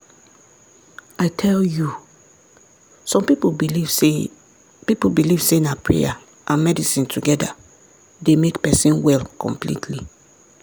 i tell you! some people believe say people believe say na prayer and medicine together dey make person well completely